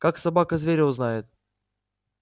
как собака зверя узнает